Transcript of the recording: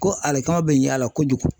Ko alekama bɛ ɲ'a la kojugu.